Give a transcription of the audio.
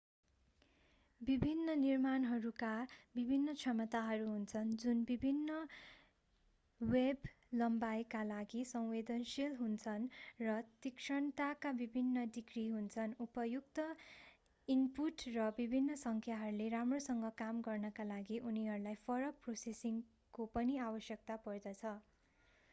विभिन्न निर्माणहरूका विभिन्न क्षमताहरू हुन्छन् जुन विभिन्न वेभ-लम्बाईका लागि संवेदनशील हुन्छन् र तीक्ष्णताका विभिन्न डिग्री हुन्छन् उपयुक्त ईनपुट र विभिन्न संख्याहरूले राम्रोसँग काम गर्नका लागि उनीहरूलाई फरक प्रोसेसिङको पनि आवश्यकता पर्दछ